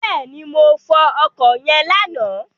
Bẹ́ẹ̀ni, mo fọ ọkọ̀ yẹn lánàá.